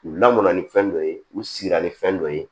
U lamɔnna ni fɛn dɔ ye u siran ni fɛn dɔ ye